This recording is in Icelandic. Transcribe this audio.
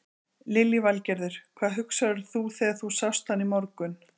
Lillý Valgerður: Hvað hugsaðir þú þegar þú sást hann í morgun?